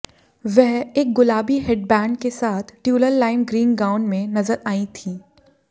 वह एक गुलाबी हेडबैंड के साथ ट्यूलल लाइम ग्रीन गाउन में नजर आई थीं